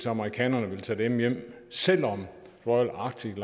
at amerikanerne vil tage dem hjem selv om royal arctic